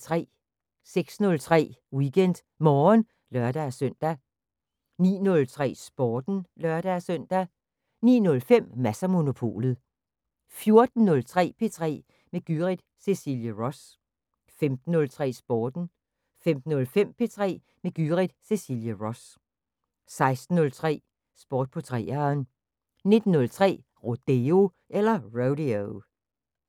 06:03: WeekendMorgen (lør-søn) 09:03: Sporten (lør-søn) 09:05: Mads & Monopolet 14:03: P3 med Gyrith Cecilie Ross 15:03: Sporten 15:05: P3 med Gyrith Cecilie Ross 16:03: Sport på 3'eren 19:03: Rodeo